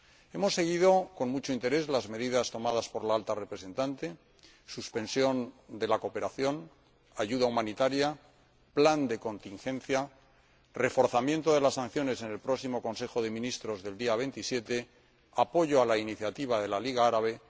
Hemos seguido con mucho interés las medidas tomadas por la Alta Representante suspensión de la cooperación, ayuda humanitaria, plan de contingencia, reforzamiento de las sanciones en el próximo Consejo de Ministros del día 27 y apoyo a la iniciativa de la Liga Árabe.